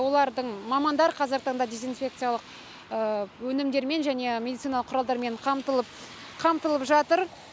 олардың мамандар қазіргі таңда дезинфекциялық өнімдер мен және медициналық құралдармен қамтылып қамтылып жатыр